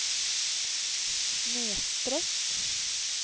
snedsträck